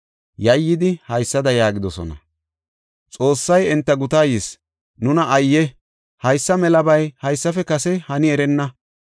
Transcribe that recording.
Yayyidi haysada yaagidosona; “Xoossay enta gutaa yis; nuna ayye! Haysa melabay haysafe kase hani erenna.